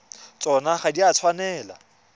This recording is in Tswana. tsona ga di a tshwanela